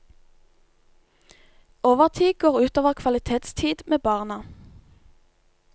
Overtid går utover kvalitetstid med barna.